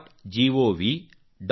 gov